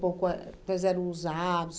Pô, qual é quais eram os